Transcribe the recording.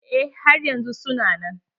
Eh har yanzun su na nan.